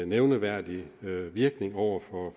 nævneværdig virkning over for